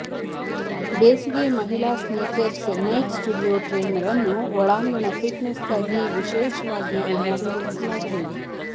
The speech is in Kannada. ಬೇಸಿಗೆ ಮಹಿಳಾ ಸ್ನೀಕರ್ಸ್ ನೈಕ್ ಸ್ಟುಡಿಯೋ ಟ್ರೇನರ್ ಅನ್ನು ಒಳಾಂಗಣ ಫಿಟ್ನೆಸ್ಗಾಗಿ ವಿಶೇಷವಾಗಿ ವಿನ್ಯಾಸಗೊಳಿಸಲಾಗಿದೆ